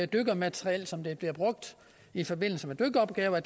dykkermateriel som der bliver brugt i forbindelse med dykkeropgaver